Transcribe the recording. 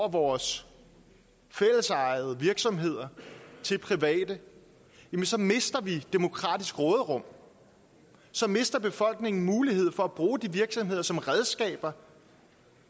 af vores fællesejede virksomheder til private mister vi demokratisk råderum så mister befolkningen mulighed for at bruge de virksomheder som redskaber